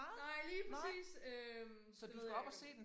Nej lige præcis øh det ved jeg ikke